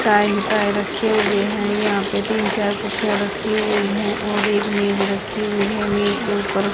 tie है tie रखे हुए हैं यहां पे तीन चार कुर्सीया रखी हुई है और एक मेज रखी हुई है मेज के ऊपर--